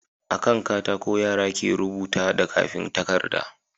A kan katako yara ke rubuta da kafin takarda